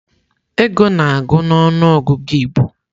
Ego na-agụ na ọnụ ọgụgụ Igbo.